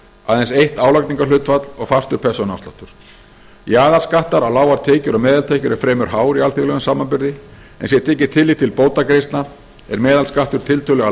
aðeins eitt álagningarhlutfall og fastur persónuafsláttur jaðarskattur á lágar tekjur og meðaltekjur er fremur hár í alþjóðlegum samanburði en sé tekið tillit til bótagreiðslna er meðalskattur tiltölulega